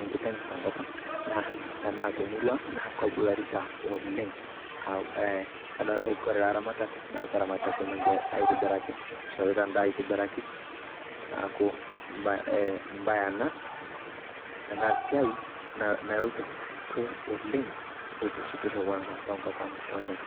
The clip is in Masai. enkiteng' te nkop ang' enaa te murua ang' naa kebularita oleng'. Aaa e kore ilaramatak naa keramatita swam enye aitibiraki, ishorita en`daa aitibiraki. Naaku ee emb`ae ena esiai naloito kwe oleng eitishipisho kwanza te nkop ang' oleng'.